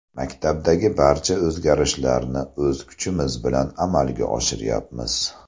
Maktabdagi barcha o‘zgarishlarni o‘z kuchimiz bilan amalga oshiryapmiz.